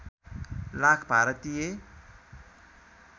lakh Bharatiya